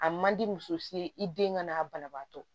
A man di muso ye i den ka n'a banabaatɔ